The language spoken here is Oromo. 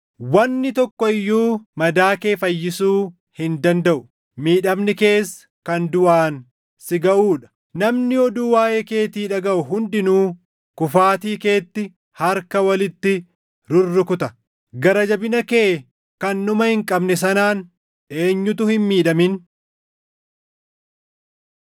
Wanni tokko iyyuu madaa kee fayyisuu hin dandaʼu; miidhamni kees kan duʼaan si gaʼuu dha. Namni oduu waaʼee keetii dhagaʼu hundinuu kufaatii keetti harka walitti rurrukuta; gara jabina kee kan dhuma hin qabne sanaan eenyutu hin miidhamin?